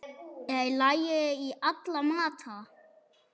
Er læri í alla mata?